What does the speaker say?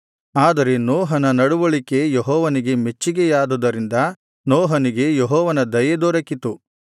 ಆದರೆ ನೋಹನ ನಡವಳಿಕೆ ಯೆಹೋವನಿಗೆ ಮೆಚ್ಚುಗೆಯಾದುದರಿಂದ ನೋಹನಿಗೆ ಯೆಹೋವನ ದಯೆ ದೊರಕಿತು